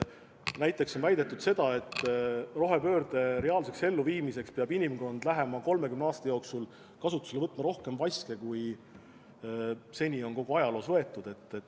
Näiteks on väidetud, et rohepöörde reaalseks elluviimiseks peab inimkond lähema 30 aasta jooksul kasutusele võtma rohkem vaske, kui seni on kogu ajaloos võetud.